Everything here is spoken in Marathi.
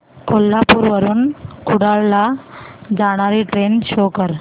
कोल्हापूर वरून कुडाळ ला जाणारी ट्रेन शो कर